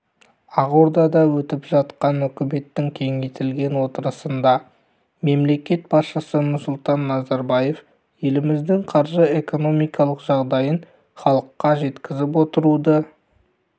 ақордада өтіп жатқан үкіметтің кеңейтілген отырысында мемлекет басшысы нұрсұлтан назарбаев еліміздің қаржы-экономикалық жағдайын іалыққа жеткізіп отыруды